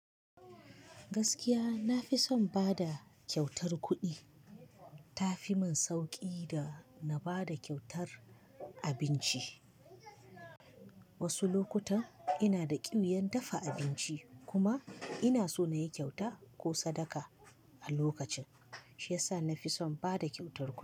Gaskiya na fi son bada kyautar kuɗi. Ta fi min sauƙi da na bada kyautar abinci. Wasu lokutan ina da ƙiuyar dafa abinci kuma ina so na yi kyauta ko sadaka a lokacin, shi yasa na fi son bada kyautar kuɗi.